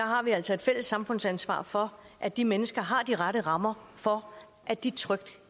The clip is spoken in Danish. har vi altså et fælles samfundsansvar for at de mennesker har de rette rammer for at de trygt